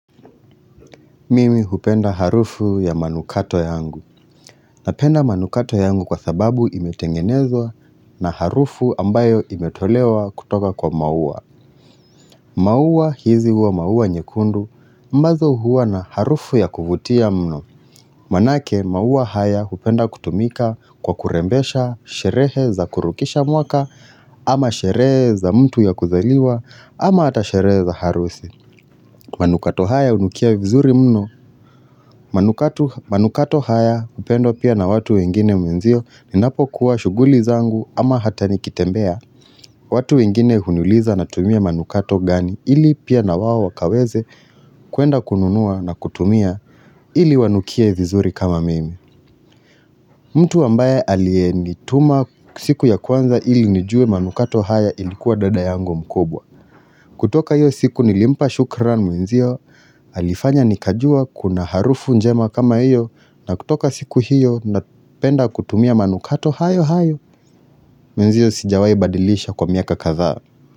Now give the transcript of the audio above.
Mimi hupenda harufu ya manukato yangu. Napenda manukato yangu kwa sababu imetengenezwa na harufu ambayo imetolewa kutoka kwa maua. Maua hizi huwa maua nyekundu ambazo huwa na harufu ya kuvutia mno. Maanake maua haya hupenda kutumika kwa kurembesha sherehe za kurukisha mwaka ama sherehe za mtu ya kuzaliwa ama ata sherehe za harusi. Manukato haya unukia vizuri mno. Manukato haya hupendwa pia na watu wengine mwenzio Ninapo kuwa shuguli zangu ama hata nikitembea watu wengine hunuliza na tumia manukato gani ili pia na wawo wakaweze kuenda kununua na kutumia ili wanukie vizuri kama mimi mtu ambaye aliyenituma siku ya kwanza ili nijue manukato haya ilikuwa dada yangu mkubwa kutoka iyo siku nilimpa shukran mwenzio Alifanya nikajua kuna harufu njema kama iyo na kutoka siku hiyo na penda kutumia manukato hayo hayo mwenzio sijawai badilisha kwa miaka katha.